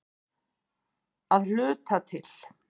Að hluta til.